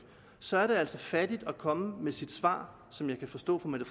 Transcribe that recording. så er det altså fattigt at komme med det svar som jeg kan forstå at fru mette